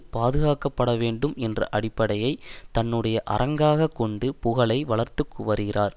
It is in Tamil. பாதுகாக்கப்பட வேண்டும் என்ற அடிப்படையை தன்னுடைய அரங்காக கொண்டு புகழை வளர்த்து வருகிறார்